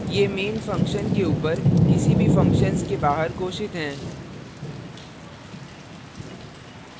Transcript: ये main functions के ऊपर किसी भी functions के बाहर घोषित हैं